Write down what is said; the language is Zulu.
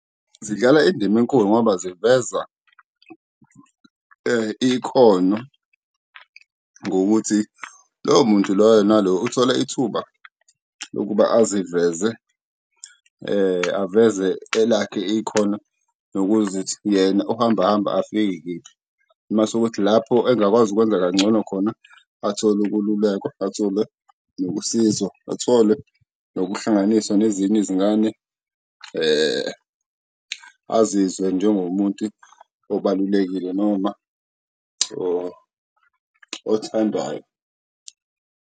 Zidlala indima enkulu ngoba ziveza ikhono ngokuthi loyo muntu loyo nalo uthola ithuba lokuba aziveze, aveze elakhe ikhono nokuzithi yena uhamba hamba afike kephi, mase kuthi lapho engakwazi ukwenza kangcono khona athole ukululekwa, athole nokusizwa, athole nokuhlanganiswa nezinye izingane. Azizwe njengomuntu obalulekile noma othandwayo.